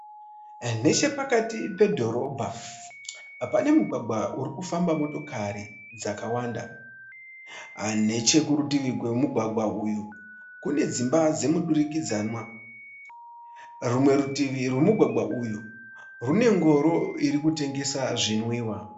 Nechepakati pedhorobha pane mugwagwa uri kufamba motokari dzakawanda, neche kurutivi kwemugwagwa uyu kune dzimba dzemudirikidzanwa, rumwe rutivi rwemugwagwa uyu rwune ngoro iri kutengesa zvinwiwa.